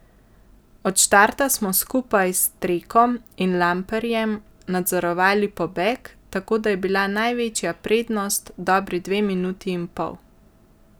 Od štarta smo skupaj s Trekom in Lamprejem nadzorovali pobeg, tako da je bila največja prednost dobri dve minuti in pol.